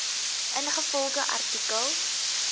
ingevolge artikel